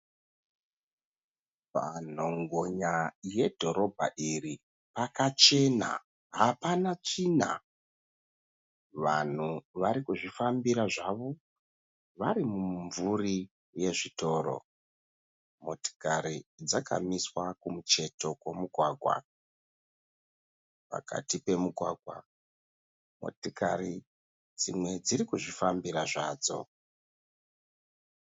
Panhongonya yedhorobha iri pakachena hapana tsvina. Vanhu vari kuzvifambira zvavo vari mumumvuri yezvitoro. Motikari dzakamiswa kumucheto kwomugwagwa. Pakati pemugwagwa motikari dzimwe dziri kuzvifambira zvadzo.